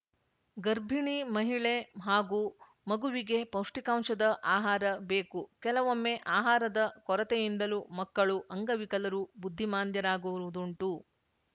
ಗರ್ಭಿಣಿ ಮಹಿಳೆ ಹಾಗೂ ಮಗುವಿಗೆ ಪೌಷ್ಟಕಾಂಶದ ಆಹಾರ ಬೇಕು ಕೆಲವೊಮ್ಮೆ ಆಹಾರದ ಕೊರತೆಯಿಂದಲೂ ಮಕ್ಕಳು ಅಂಗವಿಕಲರು ಬುದ್ಧಿಮಾಂದ್ಯರಾಗುವುದುಂಟು